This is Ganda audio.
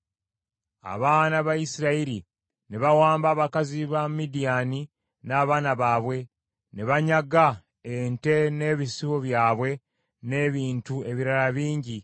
Abaana ba Isirayiri ne bawamba abakazi ba Midiyaani n’abaana baabwe, ne banyaga ente n’ebisibo byabwe n’ebintu ebirala bingi.